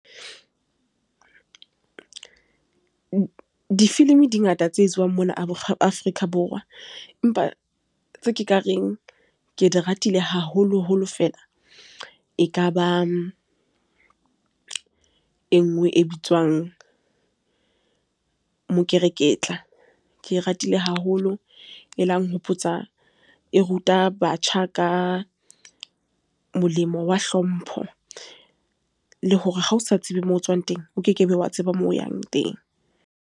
Difilimi di ngata tse etsuwang mona Afrika Borwa, empa tse ke ka reng ke di ratile haholo holo feela, ekaba e nngwe e bitswang mokereketla ke ratile haholo. E la nhopotsa e ruta batjha ka molemo wa hlompho, le hore ha o sa tsebe moo tswang teng, o kekebe wa tseba moo yang teng.